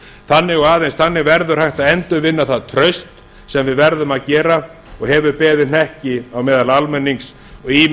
þannig og aðeins þannig verður hægt að endurvinna það traust sem við verðum að gera og hefur beðið hnekki á meðal almennings og